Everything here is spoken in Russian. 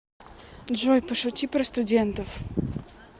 джой пошути про студентов